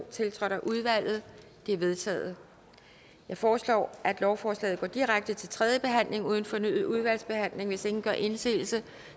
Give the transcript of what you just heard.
tiltrådt af udvalget de er vedtaget jeg foreslår at lovforslagene går direkte til tredje behandling uden fornyet udvalgsbehandling hvis ingen gør indsigelse